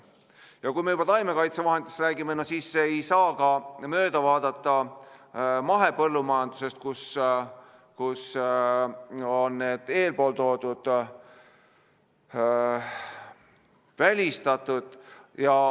Ja kui me juba taimekaitsevahenditest räägime, siis ei saa ka mööda vaadata mahepõllumajandusest, kus on need eespool toodud välistatud.